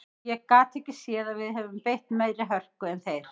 Ég gat ekki séð að við höfum beitt meiri hörku en þeir.